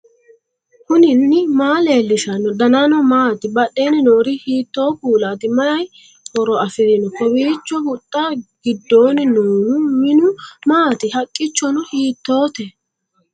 knuni maa leellishanno ? danano maati ? badheenni noori hiitto kuulaati ? mayi horo afirino ? kowiicho huxxa gidoonni noohu minu maati haqqichono hiittoote